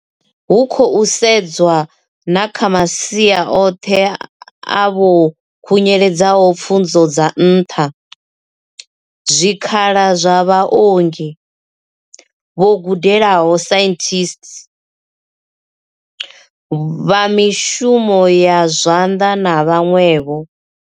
Hu khou sedzwa na kha masia oṱhe a vho khunyeledzaho pfunzo dza nṱha, na zwikhala zwa vhaongi, vho gudelaho saintsi, vha mishumo ya zwanḓa na vhaṅwevho.